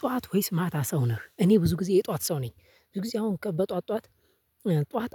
ጠዋት ወይስ ማታ ሰው ነህ? እኔ ብዙ ጊዜ የጠዋት ሰው ነኝ ብዙ ጊዜ አሁን በጠዋት ጧት